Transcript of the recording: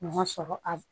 Ma sɔrɔ a